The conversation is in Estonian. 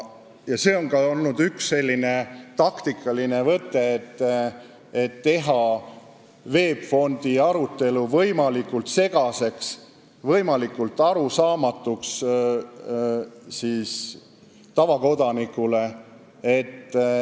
Eks see on ka olnud üks taktikaline võte, et on püütud teha VEB Fondi arutelu võimalikult segaseks, võimalikult arusaamatuks tavakodanikule.